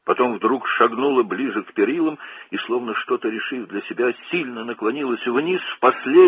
Sonra birdən məhəccərə yaxınlaşdı və sanki özü üçün nəsə qərar verərək, güclə aşağı əyildi.